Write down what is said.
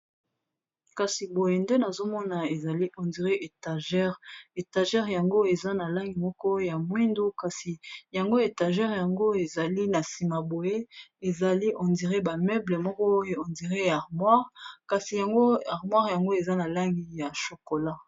kasi boye nde nazomona ezali hondire etagere etagere yango eza na langi moko ya mwindu kasi yango etagere yango ezali na nsima boye ezali ondire bameuble mokoondire ya armoire kasi yango armoire yango eza na langi ya chokola